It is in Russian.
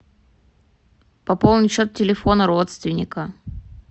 пополнить счет телефона родственника